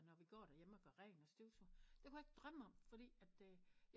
Når vi gør der hjemme og gør rent og støvsuger det kunne jeg ikke drømme om fordi at